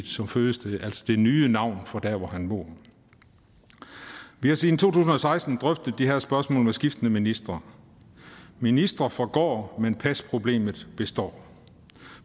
som fødested altså det nye navn for der hvor han bor nu vi har siden to tusind og seksten drøftet de her spørgsmål med skiftende ministre ministre forgår men pasproblemet består